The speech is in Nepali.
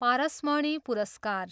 पारसमणि पुरस्कार।